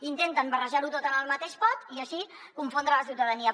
intenten barrejarho tot en el mateix pot i així confondre la ciutadania